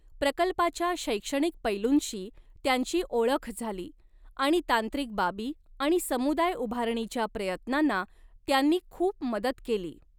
प्रकल्पाच्या शैक्षणिक पैलूंशी त्यांची ओळख झाली आणि तांत्रिक बाबी आणि समुदाय उभारणीच्या प्रयत्नांना त्यांनी खूप मदत केली.